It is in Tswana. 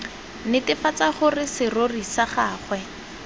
netefatsa gore serori sa gagwe